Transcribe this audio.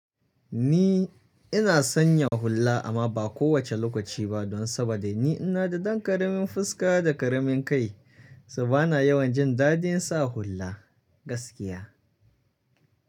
Ni ina sonya hulla amma ba kowace lokaci ba don saboda ni ina da don karamin fuska da karamin kai, so bana yawan jin daɗin sa hulla gaskiya.